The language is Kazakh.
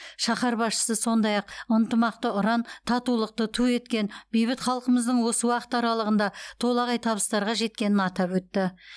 шаһар басшысы сондай ақ ынтымақты ұран татулықты ту еткен бейбіт халқымыздың осы уақыт аралығында толағай табыстарға жеткенін атап өтті